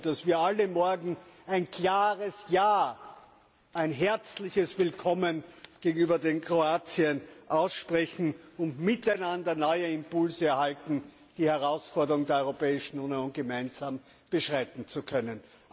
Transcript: Wir hoffen, dass wir alle morgen ein klares Ja, ein herzliches Willkommen gegenüber Kroatien aussprechen und voneinander neue Impulse erhalten, den Herausforderungen der Europäischen Union gemeinsam begegnen zu können.